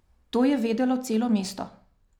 To je vedelo celo mesto.